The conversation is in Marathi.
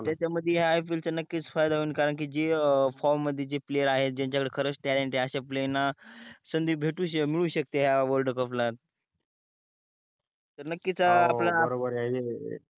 त्याच्या मध्येह IPL च्या नक्कीच फायदा होईन कारण की जे from जे player आहे जांच्या कडे खरच talent अश्या player संधि भेटू शकते मिडू शकते हया world cup ला तर नक्कीच आपल्या हो बरोबर आहे.